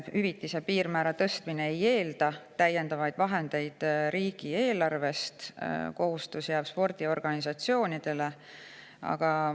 Hüvitise piirmäära tõstmine ei eelda täiendavaid vahendeid riigieelarvest, kohustus jääb spordiorganisatsioonidele.